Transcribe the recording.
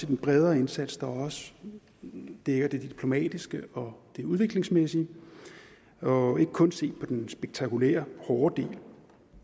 den bredere indsats der også dækker det diplomatiske og det udviklingsmæssige og ikke kun se på den spektakulære hårde del